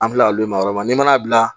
An filɛ olu ye ma yɔrɔ la n'i m'a bila